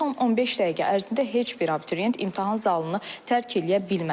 Son 15 dəqiqə ərzində heç bir abituriyent imtahan zalını tərk eləyə bilməz.